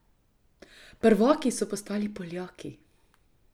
Prvaki so postali Poljaki.